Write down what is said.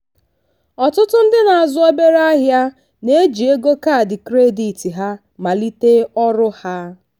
ọtụtụ ndị na-azụ obere ahịa na-eji ego kaadị kredit ha malite ọrụ ha.